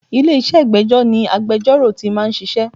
Ilé-iṣẹ́ ìgbẹ́jọ́ ni agbejọ́rò tí máa ń ṣiṣẹ́.